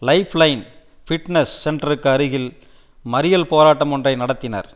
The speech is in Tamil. லைஃப் லைன் ஃபிட்னஸ் சென்டருக்கு அருகில் மறியல் போராட்டம் ஒன்றை நடத்தினர்